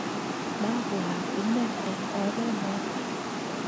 mabwaat inen eng ore noto.